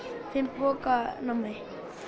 fimm poka af nammi